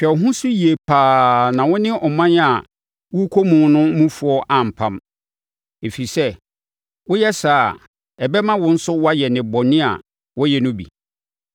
Hwɛ wo ho so yie pa ara na wo ne ɔman a worekɔ mu no mufoɔ ampam, ɛfiri sɛ, sɛ woyɛ saa a, ɛbɛma wo nso woayɛ nnebɔne a wɔyɛ no bi.